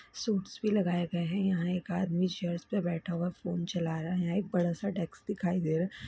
Shoots भी लगाए गए है यहाँ एक आदमी चेयर्स पे बैठा हुआ फोन चला रहा है यहाँ एक बड़ा सा डेस्क दिखाई दे रहा है।